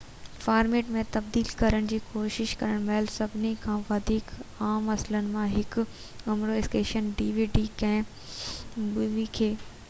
ڪنهن مووي کي dvd format ۾ تبديل ڪرڻ جي ڪوشش ڪرڻ مهل سڀني کان وڌيڪ عام مسئلن مان هڪ اوور اسڪين آهي